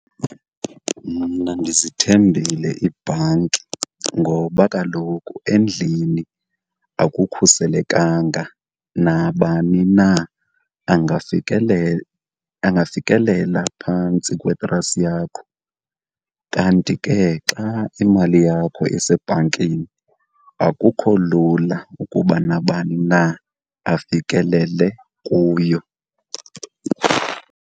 Mna ndizithembile iibhanki ngoba kaloku endlini akukhuselekanga nabani na angafikelela phantsi kwetrasi yakho kanti ke xa imali yakho isebhankini, akukho lula ukuba nabani na afikelele kuyo.